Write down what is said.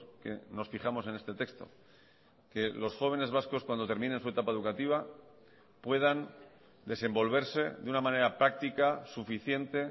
que nos fijamos en este texto que los jóvenes vascos cuando terminen su etapa educativa puedan desenvolverse de una manera práctica suficiente